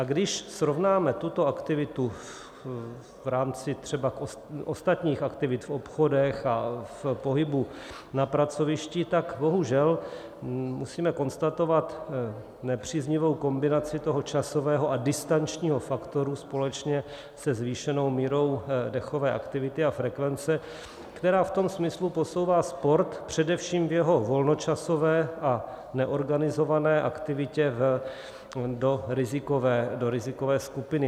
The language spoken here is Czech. A když srovnáme tuto aktivitu v rámci třeba ostatních aktivit v obchodech a v pohybu na pracovišti, tak bohužel musíme konstatovat nepříznivou kombinaci toho časového a distančního faktoru společně se zvýšenou mírou dechové aktivity a frekvence, která v tom smyslu posouvá sport především v jeho volnočasové a neorganizované aktivitě do rizikové skupiny.